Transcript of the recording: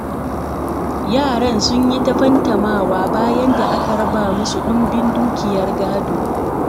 Yaran sun yi ta fantamawa, bayan da aka raba musu ɗumbin dukiyar gado.